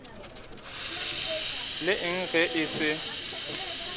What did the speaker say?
le eng ge e se